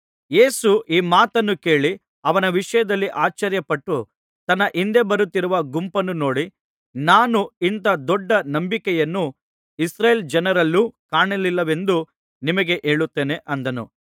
ಯೇಸು ಈ ಮಾತನ್ನು ಕೇಳಿ ಅವನ ವಿಷಯದಲ್ಲಿ ಆಶ್ಚರ್ಯಪಟ್ಟು ತನ್ನ ಹಿಂದೆ ಬರುತ್ತಿರುವ ಗುಂಪನ್ನು ನೋಡಿ ನಾನು ಇಂಥ ದೊಡ್ಡ ನಂಬಿಕೆಯನ್ನು ಇಸ್ರಾಯೇಲ್ ಜನರಲ್ಲೂ ಕಾಣಲಿಲ್ಲವೆಂದು ನಿಮಗೆ ಹೇಳುತ್ತೇನೆ ಅಂದನು